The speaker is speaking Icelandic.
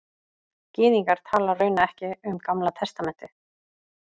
Gyðingar tala raunar ekki um Gamla testamentið